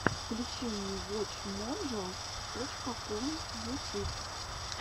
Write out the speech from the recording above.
включи мне вотч моджо точка ком ютюб